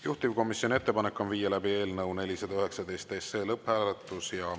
Juhtivkomisjoni ettepanek on viia läbi eelnõu 419 lõpphääletus.